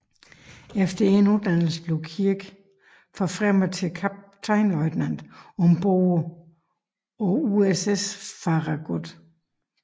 Efter endt uddannelse blev Kirk forfremmet til kaptajnløjtnant ombord på USS Farragut